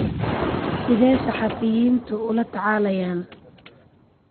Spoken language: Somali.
Sidee saxafiyiintu ula tacaalayaan?